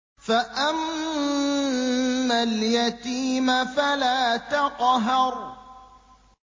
فَأَمَّا الْيَتِيمَ فَلَا تَقْهَرْ